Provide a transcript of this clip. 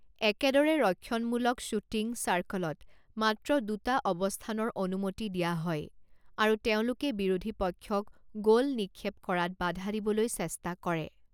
একেদৰে, ৰক্ষণমূলক শ্বুটিং চাৰ্কলত মাত্ৰ দুটা অৱস্থানৰ অনুমতি দিয়া হয় আৰু তেওঁলোকে বিৰোধী পক্ষক গ'ল নিক্ষেপ কৰাত বাধা দিবলৈ চেষ্টা কৰে।